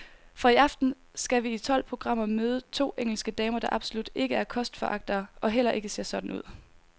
Fra i aften skal vi i tolv programmer møde to engelske damer, der absolut ikke er kostforagtere og heller ikke ser sådan ud.